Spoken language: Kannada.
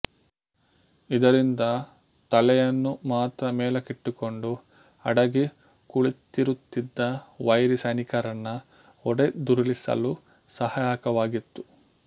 ಇದರಿಂದ ತಲೆಯನ್ನು ಮಾತ್ರ ಮೇಲಕ್ಕಿಟ್ಟುಕೊಂಡು ಅಡಗಿ ಕುಳಿತಿರುತ್ತಿದ್ದ ವೈರಿ ಸೈನಿಕರನ್ನ ಹೊಡೆದುರುಳಿಸಲು ಸಹಾಯಕವಾಗಿತ್ತು